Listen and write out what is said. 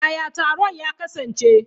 Yaya taron ya kasance?